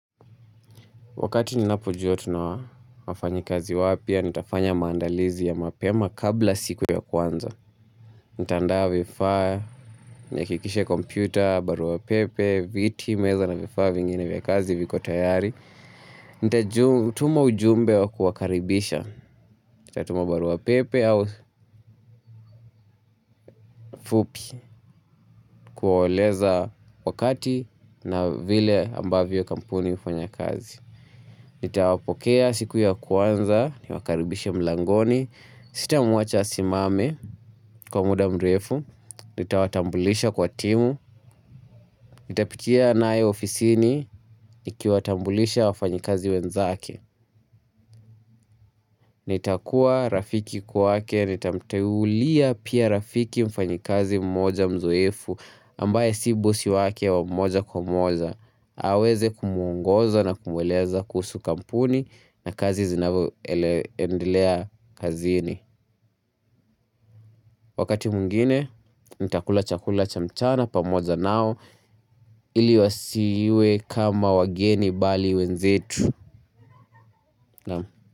Wakati ninapojua tuna wafanyikazi wapya, nitafanya maandalizi ya mapema kabla siku ya kwanza. Nitaandaa vifaa, nihakikishe kompyuta, barua pepe, viti, meza na vifaa vingine vya kazi viko tayari. Nitatuma ujumbe wa kuwakaribisha. Nitatuma barua pepe au fupi kuwaeleza wakati na vile ambavyo kampuni hufanya kazi. Nitawapokea siku ya kwanza, niwakaribishe mlangoni, sitamwacha asimame kwa muda mrefu, nitawatambulisha kwa timu, nitapitia naye ofisini, nikiwatambulisha wafanyikazi wenzake. Nitakuwa rafiki kwake nitamteulia pia rafiki mfanyikazi mmoja mzoefu ambaye si bosi wake wa moja kwa moja aweze kumwongoza na kumweleza kuhusu kampuni na kazi zinavyoendelea kazini Wakati mwngine nitakula chakula cha mchana pamoja nao ili wasiwe kama wageni bali wenzetu.